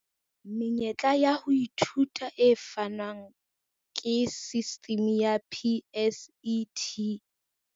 Menyetla ya ho ithuta e fanwang ke sistimi ya PSET.